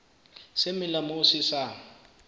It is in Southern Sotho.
se melang moo se sa